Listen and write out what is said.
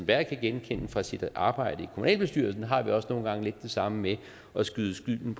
jeg kan genkende fra sit arbejde i kommunalbestyrelsen der har vi også nogle gange lidt det samme med at skyde skylden